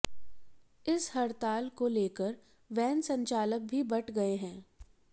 इस हड़ताल को लेकर वैन संचालक भी बंट गए है